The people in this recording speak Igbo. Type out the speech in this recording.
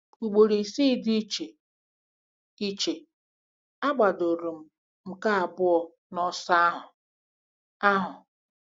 Ugboro isii dị iche iche, agbadoro m nke abụọ n'ọsọ ahụ. ahụ.